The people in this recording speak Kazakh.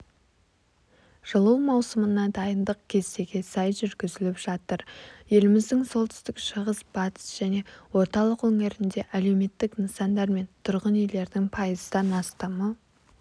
жылу маусымына дайындық кестеге сай жүргізіліп жатыр еліміздің солтүстік шығыс батыс және орталық өңірінде әлеуметтік нысандар мен тұрғын үйлердің пайыздан астамы